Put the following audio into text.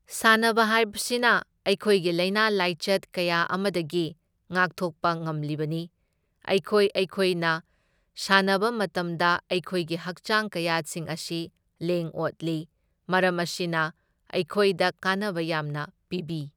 ꯁꯥꯟꯅꯕ ꯍꯥꯢꯕꯁꯤꯅ ꯑꯩꯈꯣꯏꯒꯤ ꯂꯥꯢꯅꯥ ꯂꯥꯏꯆꯠ ꯀꯌꯥ ꯑꯃꯗꯒꯤ ꯉꯥꯛꯊꯣꯛꯄ ꯉꯝꯂꯤꯕꯅꯤ꯫ ꯑꯩꯈꯣꯏ ꯑꯩꯈꯣꯏꯅ ꯁꯥꯟꯅꯕ ꯃꯇꯝꯗ ꯑꯩꯈꯣꯏꯒꯤ ꯍꯛꯆꯥꯡ ꯀꯌꯥꯠꯁꯤꯡ ꯑꯁꯤ ꯂꯦꯡ ꯑꯣꯠꯂꯤ, ꯃꯔꯝ ꯑꯁꯤꯅ ꯑꯩꯈꯣꯢꯗ ꯀꯥꯟꯅꯕ ꯌꯥꯝꯅ ꯄꯤꯕꯤ꯫